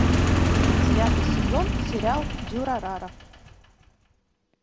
девятый сезон сериал дюрарара